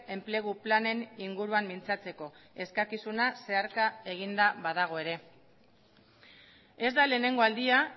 enplegu planen inguruan mintzatzeko eskakizuna zeharka eginda badago ere ez da lehenengo aldia